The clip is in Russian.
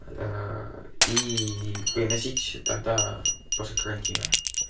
и приносите тогда после карантина